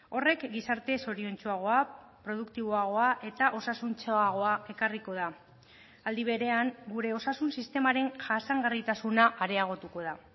horrek gizarte zoriontsuagoa produktiboagoa eta osasuntsuagoa ekarriko da aldi berean gure osasun sistemaren jasangarritasuna areagotuko da